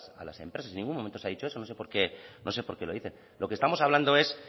a las empresas en ningún momento se ha dicho eso no sé por qué lo dicen lo que estamos hablando es